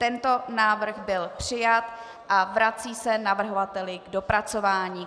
Tento návrh byl přijat a vrací se navrhovateli k dopracování.